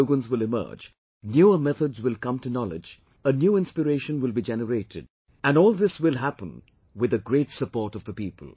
New slogans will emerge, newer methods will come to knowledge, a new inspiration will be generated and all this will happen with the great support of the people